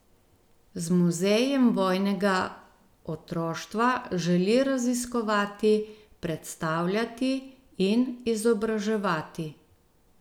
Z Muzejem vojnega otroštva želi raziskovati, predstavljati in izobraževati.